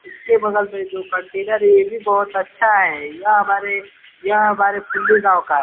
इसके बगल में जो कंटेनर है। यह भी बहुत अच्छा है यह हमारे यह हमारे फुल्ली गाँव का है।